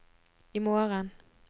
imorgen